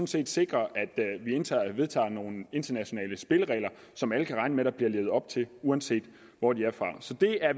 set sikrer at vi vedtager nogle internationale spilleregler som alle kan regne med der bliver levet op til uanset hvor de er fra så det er